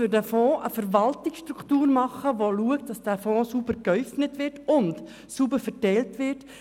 Für diesen Fonds muss eine Verwaltungsstruktur eingerichtet werden, um sicherzustellen, dass dieser Fonds sauber geäufnet und verteilt wird.